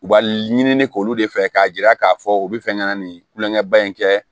U ba ɲini k'olu de fɛ k'a jira k'a fɔ u bɛ fɛ ka na nin kulonkɛ ba in kɛ